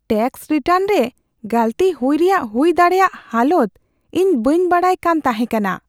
Tax return ᱨᱮ ᱜᱟᱹᱞᱛᱤ ᱦᱩᱭ ᱨᱮᱭᱟᱜ ᱦᱩᱭ ᱫᱟᱲᱮᱭᱟᱜ ᱦᱟᱞᱚᱛ ᱤᱧ ᱵᱟᱹᱧ ᱵᱟᱲᱟᱭ ᱠᱟᱱ ᱛᱟᱦᱮᱸ ᱠᱟᱱᱟ ᱾